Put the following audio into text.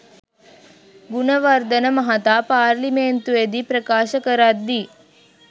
ගුණවර්ධන මහතා පාර්ලිමේන්තුවේදී ප්‍රකාශ කරද්දී